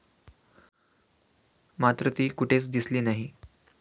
मात्र ती कुठेच दिसली नाही.